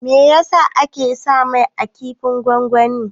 Meyasa ake sa mai a kifin gongoni?